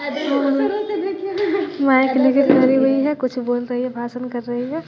डरी हुई है कुछ बोल रही है भाषण कर रही हैं।